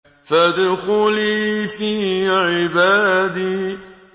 فَادْخُلِي فِي عِبَادِي